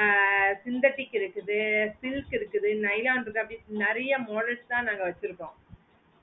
ஆஹ் synthetic இருக்குது silk இருக்குது nylon இருக்கு அப்டி நேரிய models தான் நாங்க வெச்சிருக்கோம்